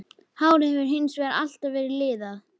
Hárið hefur hins vegar alltaf verið liðað.